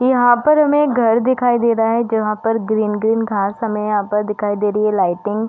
यहाँ पर हमें एक घर दिखाई दे रहा है जहाँ पर ग्रीन ग्रीन घांस हमें यहाँ दिखाई दे रही है लाइटिंग --